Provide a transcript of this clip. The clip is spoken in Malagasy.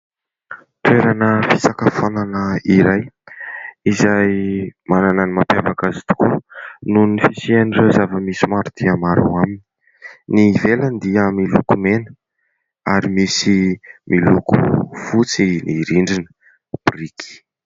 Toerana fisakafoanana iray izay manana ny mampiavaka azy tokoa ; noho ny fisian'ireo zava-misy maro dia maro aminy. Ny ivelany dia miloko mena ary misy miloko fotsy ny rindrina biriky.